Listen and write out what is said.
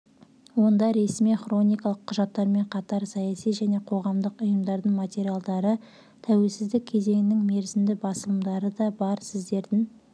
онда ресми-хроникалық құжаттармен қатар саяси және қоғамдық ұйымдардың материалдары тәуелсіздік кезеңінің мерзімді басылымдары да бар сіздердің